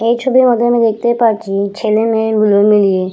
এই ছবির মধ্যে আমি দেখতে পাচ্ছি ছেলে মেয়ে দুজনে মিলেয়ে--